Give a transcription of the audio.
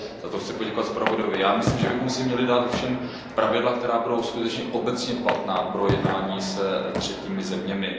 Za to chci zpravodaji poděkovat. Myslím, že bychom si měli dát pravidla, která budou skutečně obecně platná pro jednání se třetími zeměmi.